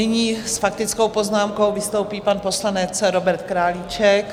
Nyní s faktickou poznámkou vystoupí pan poslanec Robert Králíček.